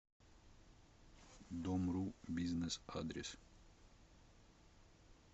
домру бизнес адрес